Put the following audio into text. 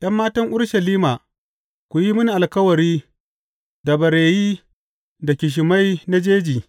’Yan matan Urushalima, ku yi mini alkawari da bareyi da ƙishimai na jeji.